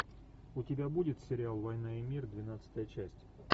у тебя будет сериал война и мир двенадцатая часть